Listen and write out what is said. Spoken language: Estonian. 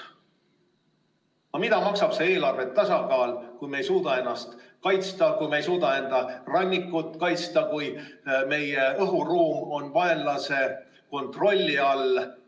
Aga mida maksab see eelarve tasakaal, kui me ei suuda ennast kaitsta, kui me ei suuda oma rannikut kaitsta, kui meie õhuruum on vaenlase kontrolli all?